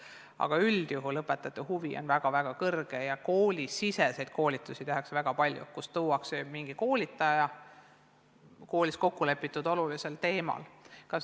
Aga üldjuhul on õpetajate huvi väga-väga suur ja väga palju tehakse koolisiseseid koolitusi – enamasti tuuakse kooli keegi koolitaja, kes räägib mingil kokkulepitud olulisel teemal.